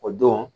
O don